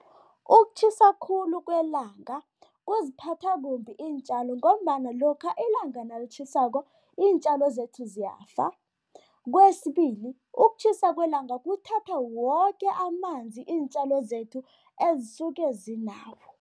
Ukutjhisa khulu kwelanga kuziphatha kumbi iintjalo ngombana lokha ilanga nalitjhisako, iintjalo zethu ziyafa. Kwesibili, ukutjhisa kwelanga kuthatha woke amanzi iintjalo zethu ezisuke zinawo.